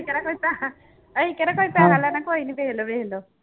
ਕਿਹੜਾ ਕੋਈ ਪੈਸਾ ਅਸੀਂ ਕਿਹੜਾ ਕੋਈ ਪੈਸਾ ਲੈਣਾ ਕੋਈ ਨੀ ਦੇਖ ਲਓ ਦੇਖ ਲਓ